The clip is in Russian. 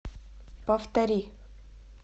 повтори